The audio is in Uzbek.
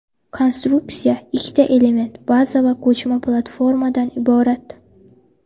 Konstruksiya ikkita element: baza va ko‘chma platformadan iborat.